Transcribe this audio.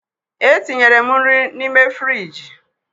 Etinyere m nri n'ime frịjị.